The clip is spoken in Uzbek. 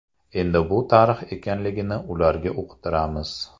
Endi bu tarix ekanligini ularga uqtiramiz.